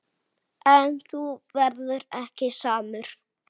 En þú verður ekki samur.